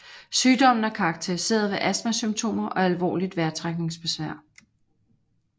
Sygdommen er karakteriseret ved astmasymptomer og alvorligt vejrtrækningsbesvær